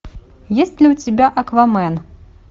есть ли у тебя аквамен